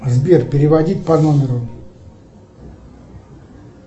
сбер переводить по номеру